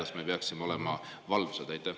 Kas me peaksime olema valvsad?